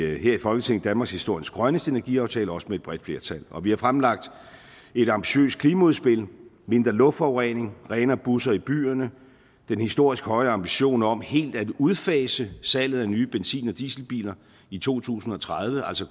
vi her i folketinget danmarkshistoriens grønneste energiaftale også med et bredt flertal og vi har fremlagt et ambitiøst klimaudspil om mindre luftforurening renere busser i byerne og den historisk høje ambition om helt at udfase salget af nye benzin og dieselbiler i to tusind og tredive altså